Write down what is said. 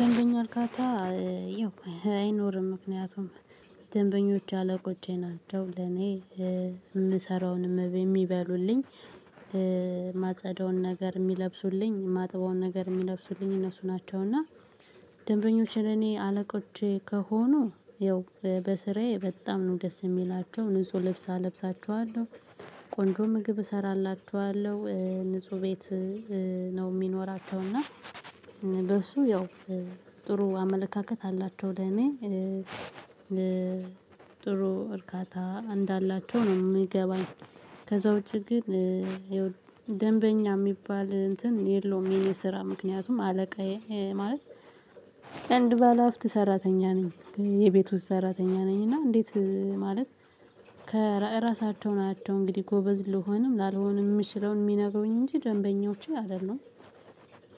ደንበኛ አርካታ አይኖርም። ምክንያቱም ደንበኞች አለቆቼ ናቸው ለኔ የምሰራውን የሚበሉልኝ ማጸዳውን ነገር የሚለብሱልኝ ማጥበውን ነገር የሚለብሱልኝ እነሱ ናቸው። እና ደንበኞች ለኔ አለቆች ከሆኑ ያው በስራዬ በጣም ነው ደስ የሚላቸው ንጹህ ልብስ አለብሳቸዋለሁ። ቆንጆ ምግብ እሰራላችኋለሁ ንጹህ ቤት ነው የሚኖራቸው። እና በእሱ ያው ጥሩ አመለካከት አላቸው። ለእኔ ጥሩ እርካታ እንዳላቸው ነው የሚገባኝ። ከዛ ውጪ ግን ደንበኛ የሚባል እንትን የለውም። የኔ ስራ ምክንያቱም አለቃዬ ማለት አንድ ባለሀብት ሰራተኛ ነኝ። የቤት ውስጥ ሰራተኛ ነኝ። እና እንዴት ማለት ከእራሳቸው ናቸው እንግዲህ ጎበዝ ልሆንም ላልሆንም የምችለውን የሚነግሩኝ እንጂ ደንበኞቼ አይደሉም።